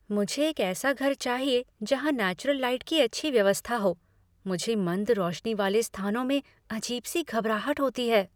"मुझे एक ऐसा घर चाहिए जहाँ नेचुरल लाइट की अच्छी व्यवस्था हो, मुझे मंद रोशनी वाले स्थानों में अजीब सी घबराहट होती है।"